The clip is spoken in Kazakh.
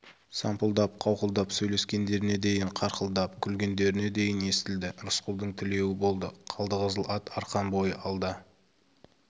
сампылдап қауқылдап сөйлескендеріне дейін қарқылдап күлгендеріне дейін естілді рысқұлдың тілеуі болды қалдықызыл ат арқан бойы алда